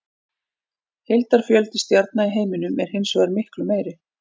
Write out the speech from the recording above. Heildarfjöldi stjarna í heiminum er hins vegar miklu meiri.